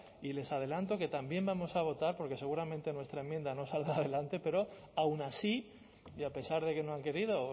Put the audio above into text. y les adelanto que también vamos a votar porque seguramente nuestra enmienda no saldrá adelante pero aun así y a pesar de que no han querido o